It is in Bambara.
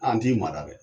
An t'i mara dɛ